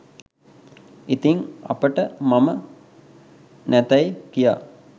ඉතින් අපට මම නැතැයි කියා